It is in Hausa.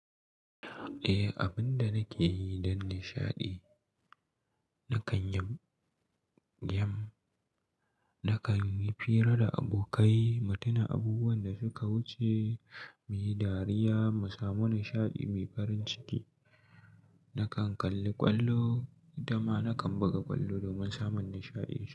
Eh, abin da nake yi don nishaɗi, na kan yamb- game, na kan yi hira da abokai, mu tuna abubuwan da suka wuce, mu yi dariya, mu samu nishaɗi mai farin ciki. Na kan kalli ƙwallo, dama na kan buga ƙwallo domin samun nishaɗi.